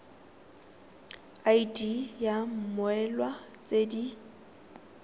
id ya mmoelwa tse di